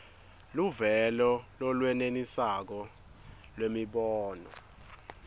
luvelo lolwenelisako lwemibono